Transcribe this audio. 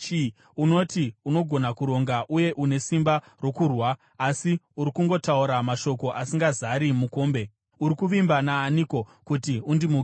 Unoti unogona kuronga uye une simba rokurwa, asi uri kungotaura mashoko asingazari mukombe. Uri kuvimba naaniko, kuti undimukire?